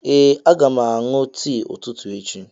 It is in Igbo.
Ee a ga m aṅụ tii ụtụtụ echi.